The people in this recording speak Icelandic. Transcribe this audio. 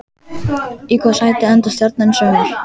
Í hvaða sæti endar Stjarnan í sumar?